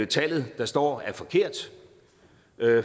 tallet der står er forkert